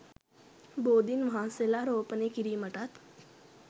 බෝධීන් වහන්සේලා රෝපණය කිරීමටත්